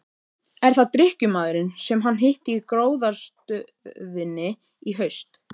Er það drykkjumaðurinn sem hann hitti í gróðrarstöðinni í haust?